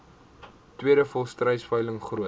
tweede volstruisveiling groot